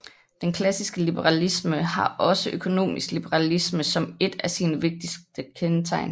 Den klassiske liberalisme har også økonomisk liberalisme som et af sine vigtigste kendetegn